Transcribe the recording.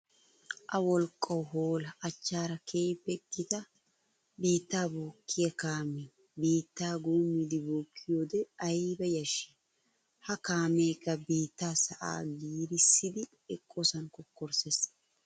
A wolqqawu hoolla! Achchaara keehippe gita biitta bookkiya kaame biitta guummiide bookkiyoode aybba yashshi! Ha kaamekka biitta sa'a giirissiddi eqosan kokkorsses.